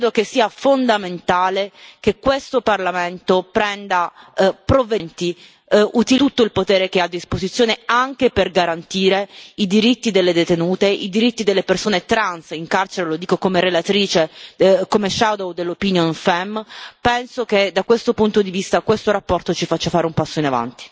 Io credo che sia fondamentale che questo Parlamento prenda provvedimenti, utilizzi tutto il potere che ha a disposizione anche per garantire i diritti delle detenute, i diritti delle persone trans in carcere. Lo dico come relatrice ombra del parere della commissione FEMM, penso che da questo punto di vista questa relazione ci faccia fare un passo in avanti.